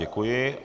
Děkuji.